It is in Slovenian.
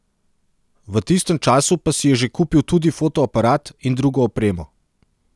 V tistem času pa si je že kupil tudi fotoaparat in drugo opremo.